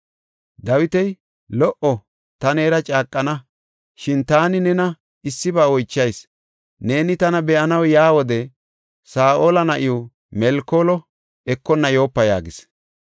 Dawiti, “Lo77o! Ta neera caaqana. Shin taani nena issiba oychayis; neeni tana be7anaw yaa wode Saa7ola na7iw Melkoolo ekonna yoopa” yaagis.